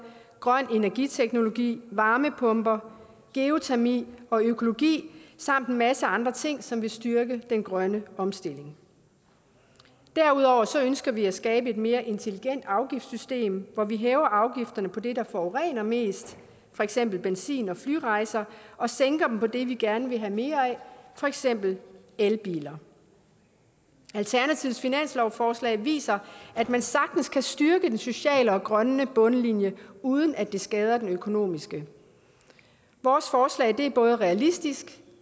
grøn energiteknologi varmepumper geotermi og økologi samt en masse andre ting som vil styrke den grønne omstilling derudover ønsker vi at skabe et mere intelligent afgiftssystem hvor vi hæver afgifterne på det der forurener mest for eksempel benzin og flyrejser og sænker dem på det vi gerne vil have mere af for eksempel elbiler alternativets finanslovsforslag viser at man sagtens kan styrke den sociale og grønne bundlinje uden at det skader den økonomiske vores forslag er både realistisk